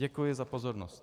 Děkuji za pozornost.